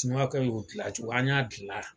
Siniwakɛ y'o gilan cogo an y'a gila